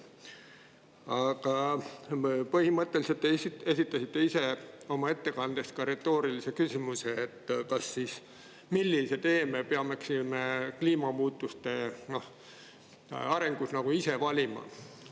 Aga põhimõtteliselt esitasite te ise oma ettekandes retoorilise küsimuse: millise tee me peaksime kliimamuutuste arenguks valima.